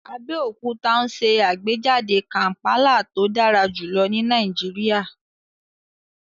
Abeokuta n ṣe agbejade kampala to dara julọ ni Nàìjíríà